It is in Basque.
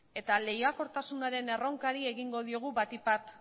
eta lehiakortasunaren erronkari egingo diogu batik bat